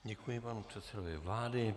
Děkuji panu předsedovi vlády.